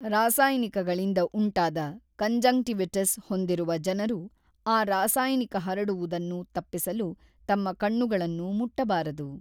ರಾಸಾಯನಿಕಗಳಿಂದ ಉಂಟಾದ ಕಾಂಜಂಕ್ಟಿವಿಟಿಸ್ ಹೊಂದಿರುವ ಜನರು ಆ ರಾಸಾಯನಿಕ ಹರಡುವುದನ್ನು ತಪ್ಪಿಸಲು ತಮ್ಮ ಕಣ್ಣುಗಳನ್ನು ಮುಟ್ಟಬಾರದು